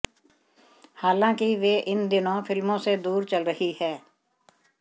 हालांकि वे इन दिनों फिल्मों से दूर चल रही हैं